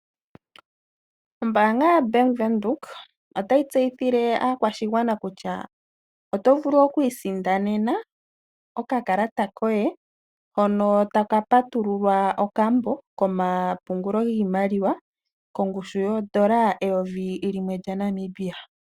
Ombaanga yoBank Windhoek otayi tseyithile aakwashigwana kutya oto vulu okuisindanena okakalata koye hono taka patululwa okambo komapungulo giimaliwa kongushu yoondola eyovi limwe lyaNamibia.